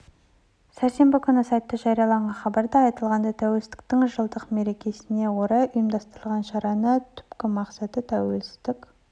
сәрсенбі күні сайтта жарияланған хабарда айтылғандай тәуелсіздіктің жылдық мерекесіне орай ұйымдастырылған шараның түпкі мақсаты тәуелсіздік